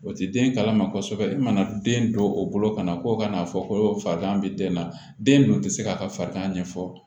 O ti den kalama kosɛbɛ i mana den don o bolo kana ko kana fɔ ko farigan be den na den dun ti se k'a ka farigan ɲɛfɔ